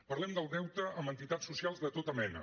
parlem del deute amb entitats socials de tota mena